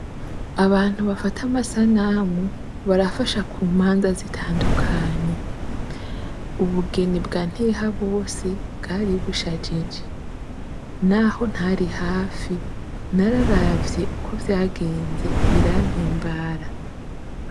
Abantu bafata amasanamu barafasha ku mpande zitandukanye. Ubugeni bwa Ntihabose bwari bushajije, naho ntari hafi nararavye uko vyagenze birampimbara.